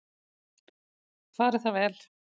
Fari það vel.